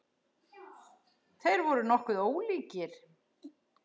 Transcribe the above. Þeir voru nokkuð ólíkir.